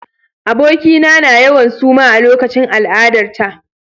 Abokina na yawan suma a lokacin al'adarta.